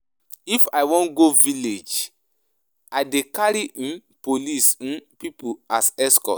If I wan go village, I dey carry um police um pipu as escort.